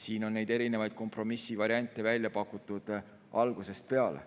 Siin on erinevaid kompromissivariante välja pakutud algusest peale.